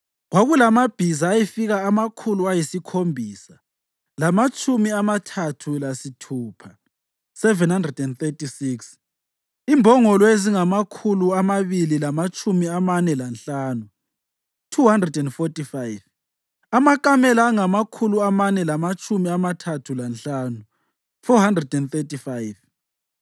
Kwakulamabhiza ayefika amakhulu ayisikhombisa lamatshumi amathathu lasithupha (736), imbongolo ezingamakhulu amabili lamatshumi amane lanhlanu (245), amakamela angamakhulu amane lamatshumi amathathu lanhlanu (435),